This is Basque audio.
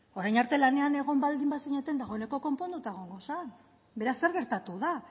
orain arte lanean egon baldin zineten dagoeneko konponduta egongo zen beraz zer gertatu da